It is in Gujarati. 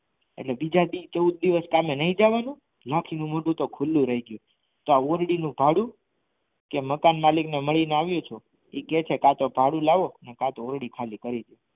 અને બીજા દિવસ ચૌદ દિવસ સહમે નહીં જવાનું લાખી નું મોઢું ખુલ્લું રહી ગયું તોઆ ઔરડી નું ભાડું કે મકાન માલિક ને મળીને આવ્યા છો એ કહે છે કાતો ભાડું લાવો આ તો ઔરડી ખાલી કરી દો